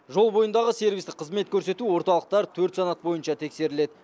жол бойындағы сервистік қызмет көрсету орталықтары төрт санат бойынша тексеріледі